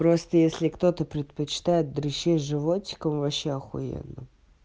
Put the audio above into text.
просто если кто-то предпочитает дрищи животиком вообще ахуенно